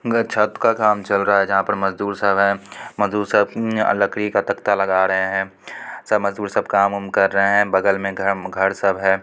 घर छत का काम चल रहा है जहाँ पर मजदूर सब है| मजदूर सब लकड़ी का तक्ता लगा रहे हैं| सब मजदूर सब काम-ऊम कर रहे हैं| बगल में घ घर सब है।